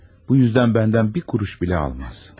Bu üzdən məndən bir kuruş belə almaz.